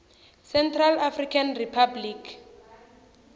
central african republic